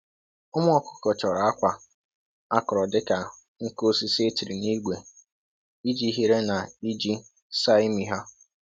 Ụmụ ọkụkọ chọrọ akwa akọrọ dịka nkụ osisi e tiri n’ígwé iji hiere na iji saa ímị ha.